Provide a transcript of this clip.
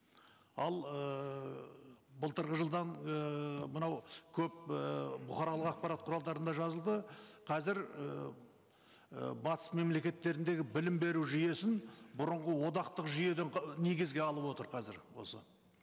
ал ыыы былтырғы жылдан ыыы мынау көп ііі бұқаралық ақпарат құралдарында жазылды қазір ііі батыс мемлекеттеріндегі білім беру жүйесін бұрынғы одақтық жүйеден негізге алып отыр қазір осы